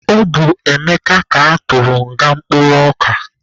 Ọ bụ Emeka ka atụrụ nga mkpụrụ ọka.